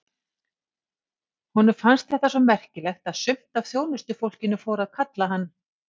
Honum fannst þetta svo merkilegt að sumt af þjónustufólkinu fór að kalla hann